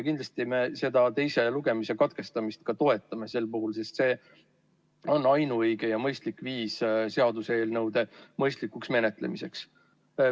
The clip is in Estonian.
Kindlasti me seda teise lugemise katkestamist ka toetame sel puhul, sest see on ainuõige ja mõistlik viis seaduseelnõude mõistlikuks menetlemiseks.